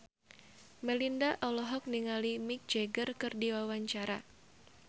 Melinda olohok ningali Mick Jagger keur diwawancara